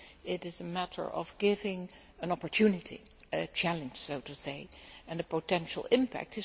it is a matter of getting an opportunity, a challenge, so to say, and a potential impact.